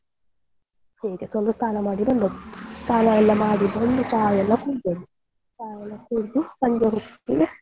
ಒಂದು ಸ್ನಾನ ಮಾಡಿ ಬಂದದ್ದು. ಸ್ನಾನ ಎಲ್ಲ ಮಾಡಿ ಬಂದು ಚಾ ಎಲ್ಲ ಕುಡ್ದದ್ದು ಚಾ ಎಲ್ಲ ಕುಡ್ದು ಸಂಜೆ ಹೊತ್ತಿಗೆ.